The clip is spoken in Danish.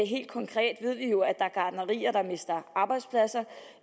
helt konkret ved vi jo at er gartnerier der mister arbejdspladser